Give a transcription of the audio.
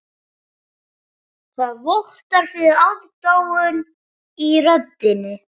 Það vottar fyrir aðdáun í röddinni.